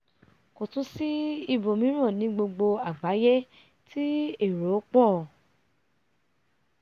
kò tún sí ibòmíràn ní gbogbo àgbáyé tí èro pọ̀